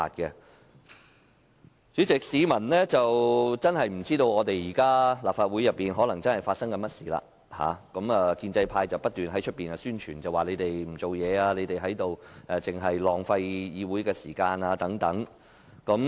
代理主席，市民可能不知道現時立法會發生甚麼事。建制派不斷在外面宣傳說我們不做事，只是浪費議會時間。